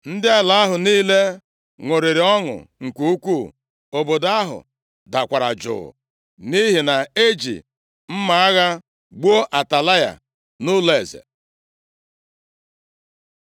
Ndị ala ahụ niile ṅụrịrị ọṅụ nke ukwuu, obodo ahụ dakwara jụụ, nʼihi na e ji mma agha gbuo Atalaya nʼụlọeze.